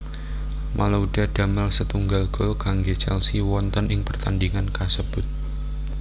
Malouda damel setunggal gol kanggé Chelsea wonten ing pertandingan kasebut